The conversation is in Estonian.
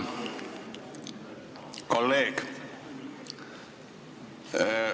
Hea kolleeg!